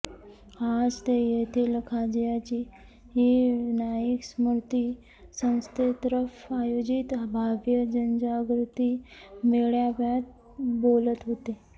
आज ते येथील खाज्याजी नाईक स्मृति संस्थेतर्फे आयोजित भव्य जनजागृती मेळाव्यात बोलत होते